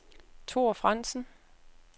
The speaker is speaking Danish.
Thor Frandsen